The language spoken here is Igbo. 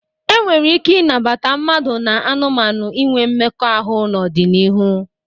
E nwere ike ịnabata mmadụ na anụmanụ inwe mmekọahụ n'ọdịnihu.